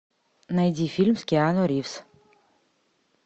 найди фильм с киану ривз